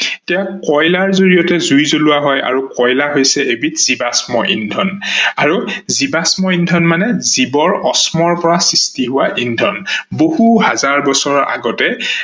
এতিয়া কয়লাৰ জৰিয়তে জুই জলোৱা হয় আৰু কয়লা হৈছে এবিধ জীৱাস্ম ইন্ধন আৰু জীৱাস্ম ইন্ধন মানে জীৱৰ অস্মৰ পা সৃষ্টি হোৱা ইন্ধন। বহু হাজাৰ বছৰ আগতে